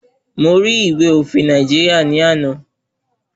Mo rí ìwé òfin Nàìjíríà ní àná.